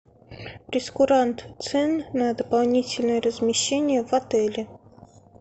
прейскурант цен на дополнительное размещение в отеле